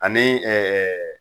Ani